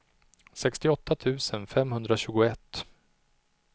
sextioåtta tusen femhundratjugoett